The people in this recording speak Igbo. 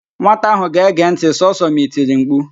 Nwata ahụ ga-ege ntị sọsọ ma i tiri mkpu